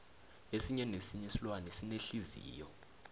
esinye nesinye isilwane sinenhliziyo